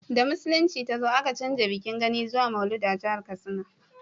da musulunci ta zo a ka canja bikin gani zuwa maulud a jahar katsina